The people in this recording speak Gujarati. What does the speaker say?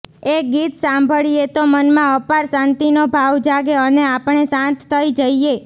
એ ગીત સાંભળીએ તો મનમાં અપાર શાંતિનો ભાવ જાગે અને આપણે શાંત થઈ જઈએ